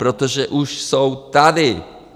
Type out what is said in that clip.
Protože už jsou tady!